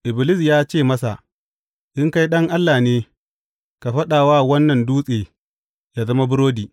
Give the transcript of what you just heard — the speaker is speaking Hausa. Iblis ya ce masa, In kai Ɗan Allah ne, ka faɗa wa wannan dutse yă zama burodi.